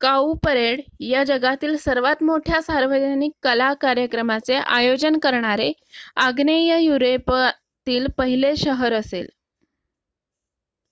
cow parade या जगातील सर्वात मोठ्या सार्वजनिक कला कार्यक्रमाचे आयोजन करणारे आग्नेय युरोपातील पहिले शहर असेल